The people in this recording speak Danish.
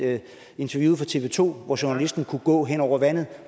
interviewet fra tv to hvor journalisten kunne gå hen over vandet